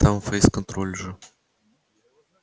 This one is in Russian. там фейс-контроль же